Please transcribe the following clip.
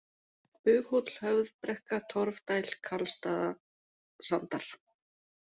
Bughóll, Höfðbrekka, Torfdæl, Karlstaðasandar